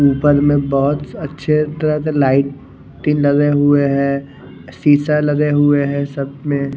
उपर में बहोत अच्छे तरह लाइट भी लगे हुए है सीसा लगे हुए है सब में--